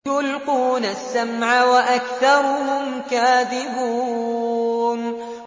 يُلْقُونَ السَّمْعَ وَأَكْثَرُهُمْ كَاذِبُونَ